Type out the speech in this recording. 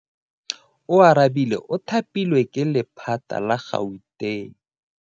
Oarabile o thapilwe ke lephata la Gauteng.